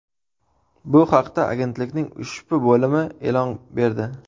Bu haqda agentlikning ushbu bo‘limi e’lon berdi.